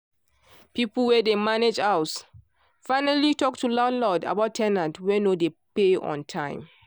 people wey dey manage house finally talk to landlord about ten ants wey no dey pay on time.